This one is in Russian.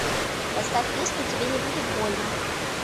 поставь песню тебе не будет больно